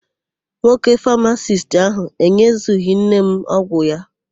Nwoke famasisti áhụ̀ enyezughị nne m ọgwụ ya.